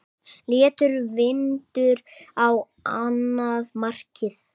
Léttur vindur á annað markið.